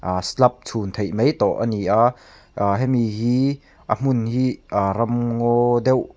aaa slab chhun theih mai tawh ani a ahh hemi hi a hmun hi ram ngaw deuh--